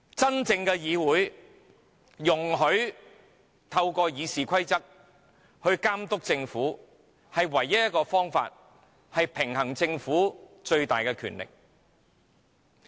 真正的議會應容許透過《議事規則》監督政府，這是平衡政府最大的權力的唯一方法。